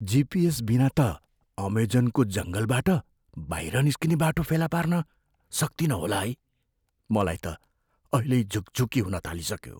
GPS बिना त अमेजनको जङ्गलबाट बाहिर निस्किने बाटो फेला पार्न सक्तिनँ होला है। मलाई त अहिल्यै झुकझुकी हुन थालिसक्यो।